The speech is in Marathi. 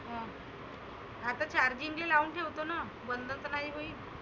हं आता charging ले लावून ठेवतो ना. बंद तर नाही होईल.